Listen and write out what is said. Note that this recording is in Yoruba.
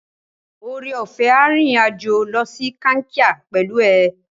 Oreọ̀fẹ́ a rìnrìn-àjò lọ sí Kankia pẹ̀lú ẹ.